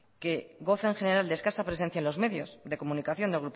que goza en general de escasa presencia en los medios de comunicación de